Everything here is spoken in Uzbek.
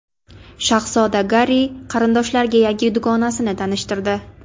Shahzoda Garri qarindoshlariga yangi dugonasini tanishtirdi.